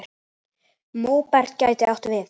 Móberg gæti átt við